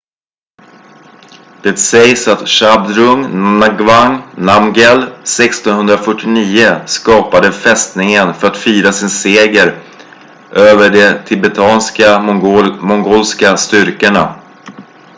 det sägs att zhabdrung ngawang namgyel 1649 skapade fästningen för att fira sin seger över de tibetansk-mongolska styrkorna